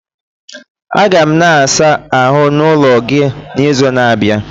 Aga m na ịsa ahụ n'ulo gị n'izu na-abịa